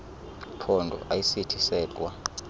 phondo ayisithi sedwa